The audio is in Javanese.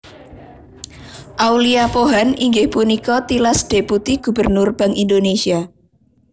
Aulia Pohan inggih punika tilas Deputi Gubernur Bank Indonésia